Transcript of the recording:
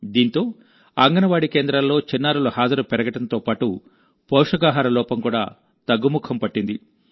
దీంతో అంగన్వాడీ కేంద్రాల్లో చిన్నారుల హాజరు పెరగడంతోపాటు పోషకాహార లోపం కూడా తగ్గుముఖం పట్టింది